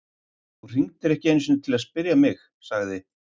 Þú hringdir ekki einu sinni til að spyrja um mig- sagði